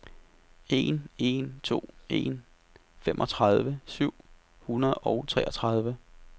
en en to en femogtredive syv hundrede og treogtredive